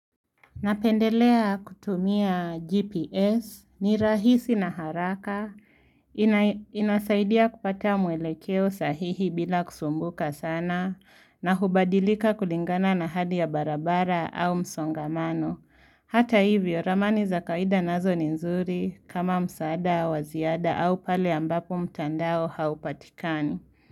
Napendelea kutumia GPS ni rahisi na haraka. Inasaidia kupata mwelekeo sahihi bila kusumbuka sana na hubadilika kulingana na hadi ya barabara au msongamano. Hata hivyo, ramani za kawaida nazo ni nzuri kama msaada wa ziada au pale ambapo mtandao haupatikani.